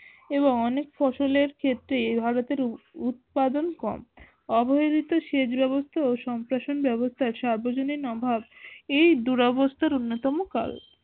এবং অনেক ফসলের ক্ষেত্রে ভারতের উৎপাদন কম। অবহেলিত সেচ ব্যবস্থা ও সম্প্রসারণ ব্যাবস্থার সার্বজনীন অভাব, এই দুরাবস্ত্র অন্যতম কারণ